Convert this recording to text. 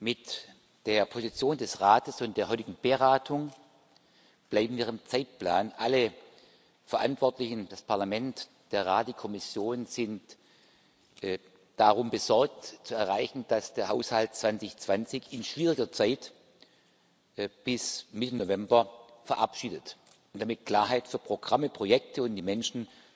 Mit der Position des Rates und der heutigen Beratung bleiben wir im Zeitplan. Alle Verantwortlichen das Parlament, der Rat, die Kommission sind darum besorgt, zu erreichen, dass der Haushalt 2020 in schwieriger Zeit bis Mitte November verabschiedet und damit Klarheit für Programme, Projekte und die Menschen